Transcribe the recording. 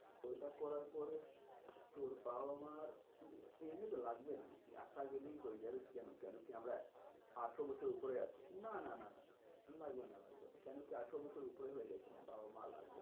ওইটা করার পরে তোর বাবা মার এমনিতে লাগবে না। একা গেলই হয়ে যাবে কেন কেন কি আমরা আঠারো বছরের উপরে আছি না না না লাগবে না লাগবে না। কেনো কি আঠারো বছরের উপরে হয়ে গেছি না বাবা মা আর লাগবে না,